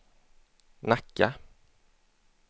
Nacka